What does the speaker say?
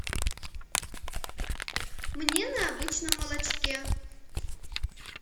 мне на обычном молочке